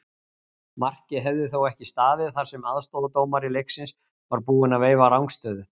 Markið hefði þó ekki staðið þar sem aðstoðardómari leiksins var búinn að veifa rangstöðu.